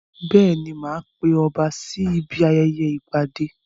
Bẹ́ẹ̀ni, mo ma pe ọba sí ibi ayẹyẹ ìgbadé